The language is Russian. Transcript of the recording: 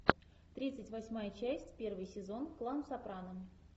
тридцать восьмая часть первый сезон клан сопрано